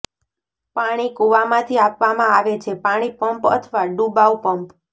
પાણી કૂવામાંથી આપવામાં આવે છે પાણી પંપ અથવા ડુબાઉ પંપ